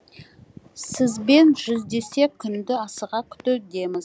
сізбен жүздесер күнді асыға күтудеміз